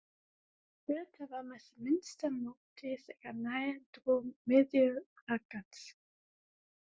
Birta var með minnsta móti þegar nær dró miðju braggans.